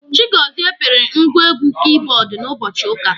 Chigozie pịrị ngwa egwu kibọọdụ n'ụbọchị ụka.